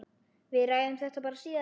Við ræðum þetta bara síðar.